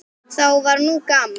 Þá var nú gaman.